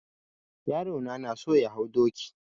Yaro na na so ya hau doki.